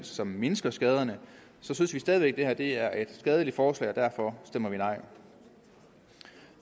som mindsker skaderne synes vi stadig væk at det her er et skadeligt forslag og derfor stemmer vi nej